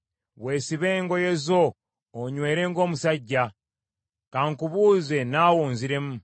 “Weesibe engoye zo onywere ng’omusajja. Ka nkubuuze, naawe onziremu.